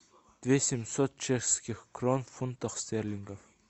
две семьсот чешских крон в фунтах стерлингов